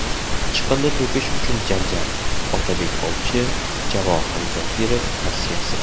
Chiqindi to‘kish uchun janjal, Otabek ovchi, Javohir Zokirov tavsiyasi.